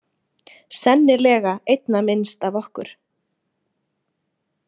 Sennilega einna minnst af okkur.